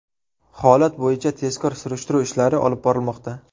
Holat bo‘yicha tezkor surishtiruv ishlari olib borilmoqda.